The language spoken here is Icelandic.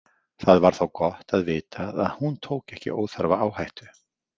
Það var þá gott að vita að hún tók ekki óþarfa áhættu.